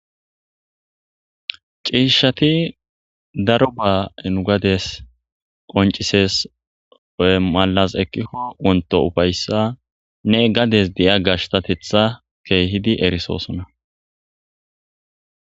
Ciishshati daroba nu gadiyas qonccisees. Woy malas ekikko wontto uffayssanne gades diya gashttatetha keehidi erisosona.